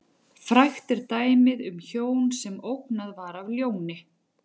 Frægt er dæmið um hjón sem ógnað var af ljóni.